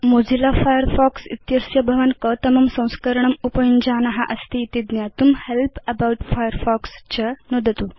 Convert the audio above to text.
Mozilla Firefox इत्यस्य कतमं संस्करणम् उपयुञ्जान अस्ति इति ज्ञातुं हेल्प् अबाउट फायरफॉक्स च नुदतु